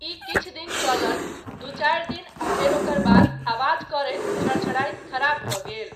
ई किछु दिन चलल, दू चारि दिन आ फेर ओकर बाद आवाज करैत झड़झड़ाइत खराब भऽ गेल।